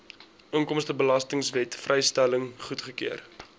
inkomstebelastingwet vrystelling goedgekeur